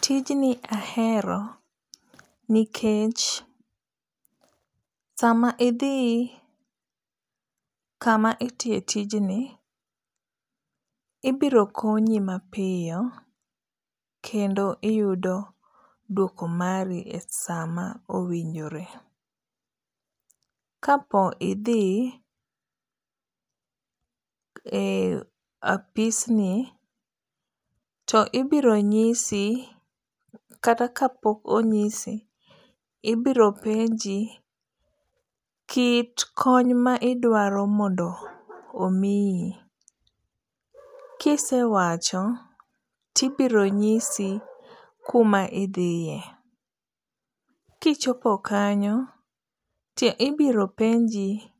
Tijni ahero nikech sama idhi kama itiye tijni, ibiro konyi mapiyo kendo iyudo dwoko mari e sama owinjore, kapo idhi e apisni to ibiro nyisi kata ka pok onyisi ibiro penji kit kony ma idwaro mondo omiyi, kisewacho ti ibiro nyisi kuma ithiye kichopo kanyo to ibiro penji